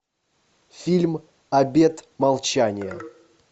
фильм обет молчания